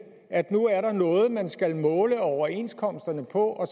at nu er der noget man skal måle overenskomsterne på og